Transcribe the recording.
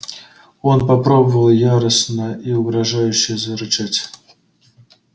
он попробовал яростно и угрожающе зарычать